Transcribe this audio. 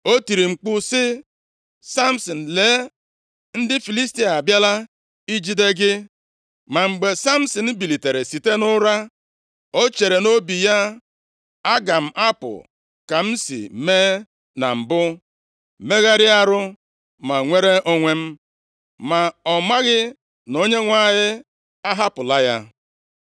O tiri mkpu sị, “Samsin, lee, ndị Filistia abịala ijide gị.” Ma mgbe Samsin bilitere site nʼụra, o chere nʼobi ya, “Aga m apụ ka m si mee na mbụ megharịa arụ ma nwere onwe m.” Ma ọ maghị na Onyenwe anyị ahapụla ya.